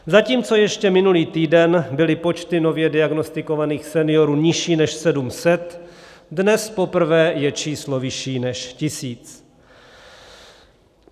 Zatímco ještě minulý týden byly počty nově diagnostikovaných seniorů nižší než 700, dnes poprvé je číslo vyšší než tisíc.